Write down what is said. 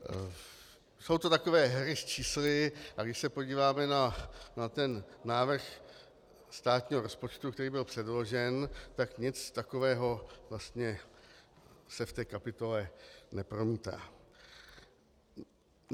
Jsou to takové hry s čísly, a když se podíváme na ten návrh státního rozpočtu, který byl předložen, tak nic takového vlastně se v té kapitole nepromítá.